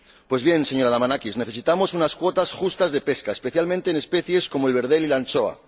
Pues bien, señora Damanaki, necesitamos unas cuotas justas de pesca, especialmente en especies como el verdel y la anchoa.